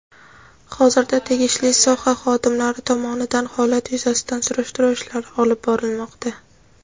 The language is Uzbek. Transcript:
Hozirda tegishli soha xodimlari tomonidan holat yuzasidan surishtiruv ishlari olib borilmoqda.